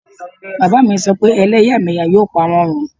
Bàbá mi so pe elẹ́yàmẹ́yà yóò pa wọn run